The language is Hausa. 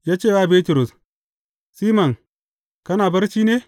Ya ce wa Bitrus, Siman, kana barci ne?